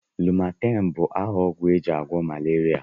Lumaten bu aha ogwu eji agwo malaria.